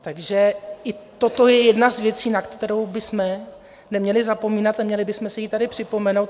Takže i toto je jedna z věcí, na kterou bychom neměli zapomínat a měli bychom si ji tady připomenout.